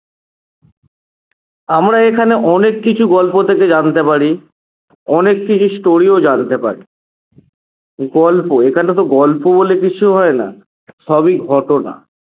আমরা এখানে অনেক কিছু গল্প থেকে জানতে পারি অনেককিছু story ও জানতে পারি গল্প এখোনে তো গল্প বলে কিছু হয় না সবই ঘটনা